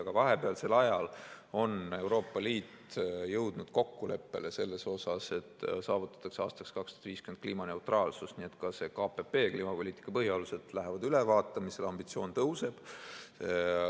Aga vahepealsel ajal on Euroopa Liit jõudnud kokkuleppele selles, et saavutada aastaks 2050 kliimaneutraalsus, nii et ka see KPP ehk kliimapoliitika põhialused läheb ülevaatamisele, ambitsioon tõuseb.